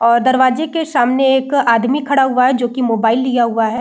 और दरवाजे के सामने एक आदमी खड़ा हुआ है जो की मोबाइल लिया हुआ है।